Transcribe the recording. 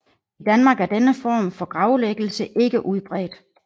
I Danmark er denne form for gravlæggelse ikke udbredt